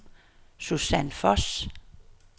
Susan Voss